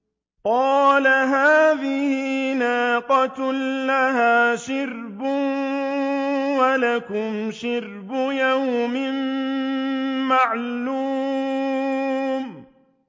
قَالَ هَٰذِهِ نَاقَةٌ لَّهَا شِرْبٌ وَلَكُمْ شِرْبُ يَوْمٍ مَّعْلُومٍ